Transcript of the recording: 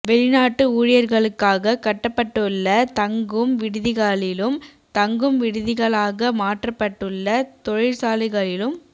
வெளிநாட்டு ஊழியர்களுக்காக கட்டப்பட்டுள்ள தங்கும் விடுதிகளிலும் தங்கும் விடுதிகளாக மாற்றப்பட்டுள்ள தொழிற்சாலைகளிலும்